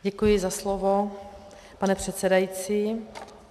Děkuji za slovo, pane předsedající.